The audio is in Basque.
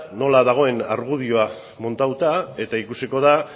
nola dagoen argudioa montatuta eta ikusiko da